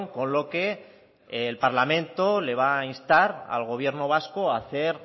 con lo que el parlamento le va a instar al gobierno vasco a hacer